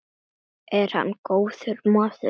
Er hann góður maður?